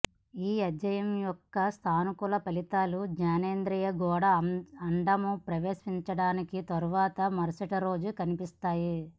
ఈ అధ్యయనం యొక్క సానుకూల ఫలితాలు జనేంద్రియాల గోడ అండము ప్రవేశపెట్టడానికి తర్వాత మరుసటి రోజు కనిపిస్తాయి